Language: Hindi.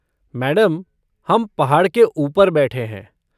मैडम, हम पहाड़ के ऊपर बैठे हैं।